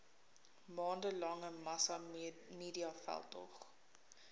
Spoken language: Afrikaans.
maande lange massamediaveldtog